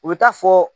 U bɛ taa fɔ